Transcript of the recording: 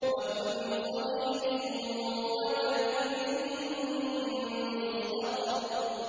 وَكُلُّ صَغِيرٍ وَكَبِيرٍ مُّسْتَطَرٌ